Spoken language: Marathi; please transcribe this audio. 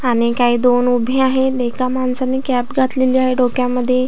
आणि काही दोन उभे आहेत एका माणसाने कॅप घातलेली आहे डोक्यामध्ये.